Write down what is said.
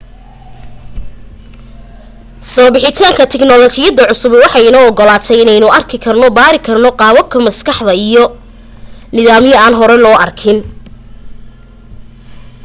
soo bixitaanka tignolajiyada cusubi waxay inoo ogolaatay inaynu arki karno baarina karno qaababka maskaxda iyo nidaamyo aan hore loo arkin